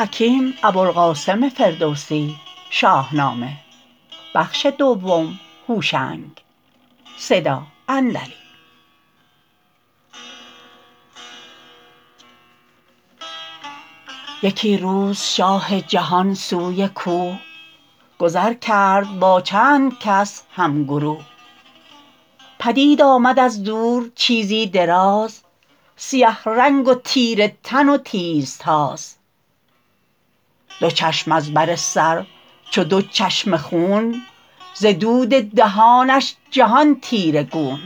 یکی روز شاه جهان سوی کوه گذر کرد با چند کس هم گروه پدید آمد از دور چیزی دراز سیه رنگ و تیره تن و تیز تاز دو چشم از بر سر چو دو چشمه خون ز دود دهانش جهان تیره گون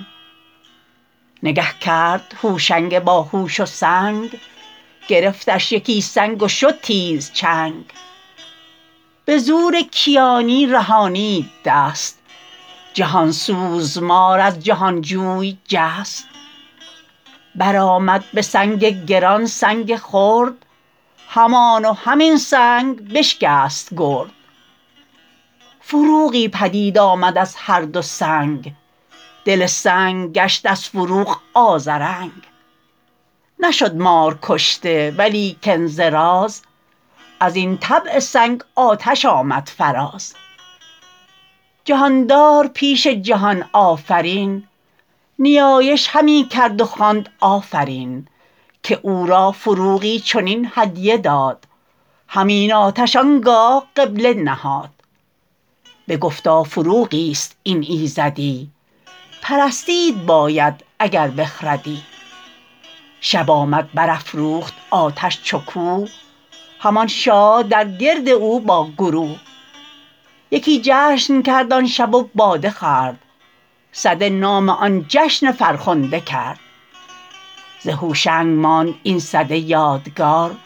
نگه کرد هوشنگ باهوش و سنگ گرفتش یکی سنگ و شد تیز چنگ به زور کیانی رهانید دست جهان سوز مار از جهان جوی جست بر آمد به سنگ گران سنگ خرد همان و همین سنگ بشکست گرد فروغی پدید آمد از هر دو سنگ دل سنگ گشت از فروغ آذرنگ نشد مار کشته ولیکن ز راز از این طبع سنگ آتش آمد فراز جهاندار پیش جهان آفرین نیایش همی کرد و خواند آفرین که او را فروغی چنین هدیه داد همین آتش آنگاه قبله نهاد بگفتا فروغی است این ایزدی پرستید باید اگر بخردی شب آمد بر افروخت آتش چو کوه همان شاه در گرد او با گروه یکی جشن کرد آن شب و باده خورد سده نام آن جشن فرخنده کرد ز هوشنگ ماند این سده یادگار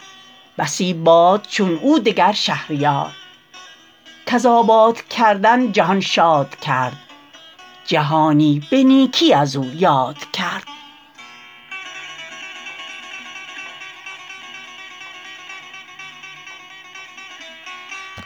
بسی باد چون او دگر شهریار کز آباد کردن جهان شاد کرد جهانی به نیکی از او یاد کرد